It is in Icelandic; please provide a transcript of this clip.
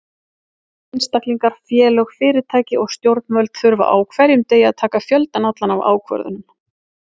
Einstaklingar, félög, fyrirtæki og stjórnvöld þurfa á hverjum degi að taka fjöldann allan af ákvörðunum.